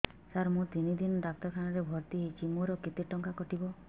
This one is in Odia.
ସାର ମୁ ତିନି ଦିନ ଡାକ୍ତରଖାନା ରେ ଭର୍ତି ହେଇଛି ମୋର କେତେ ଟଙ୍କା କଟିବ